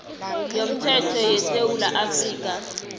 yomthetho yesewula afrika